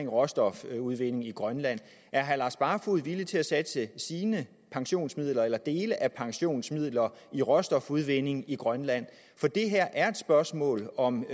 råstofudvinding i grønland er herre lars barfoed villig til at satse sine pensionsmidler eller dele af pensionsmidler i råstofudvinding i grønland for det her er et spørgsmål om